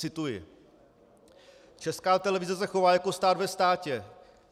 Cituji: "Česká televize se chová jako stát ve státě.